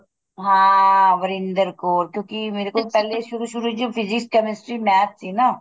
ਹਾਂ ਵਰਿੰਦਰ ਕੋਰ ਕਿਉਂਕਿ ਮੇਰੇ ਕੋਲ ਪਹਿਲੀ ਸ਼ੁਰੂ ਸ਼ੁਰੂ ਵਿੱਚ physics chemistry math ਸੀ ਨਾ